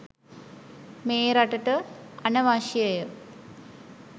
මේ රටට අනවශ්‍යය.